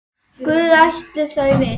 Guð ætli þau viti.